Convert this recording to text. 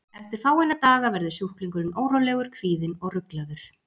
Eftir fáeina daga verður sjúklingurinn órólegur, kvíðinn og ruglaður.